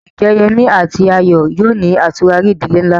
Ǹjẹ́ Yemí àti Ayọ̀ yóò ní àtúrarí ìdílé ńlá?